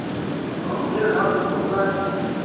а мне надо узнать